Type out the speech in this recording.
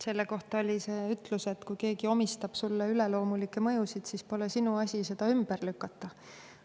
Selle kohta oli ütlus, et kui keegi omistab sulle üleloomulikke mõjusid, siis pole sinu asi seda ümber lükata.